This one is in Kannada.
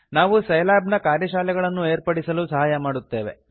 ನಾವು ಸೈಲ್ಯಾಬ್ ನ ಕಾರ್ಯಶಾಲೆಗಳನ್ನು ಏರ್ಪಡಿಸಲು ಸಹಾಯ ಮಾಡುತ್ತೇವೆ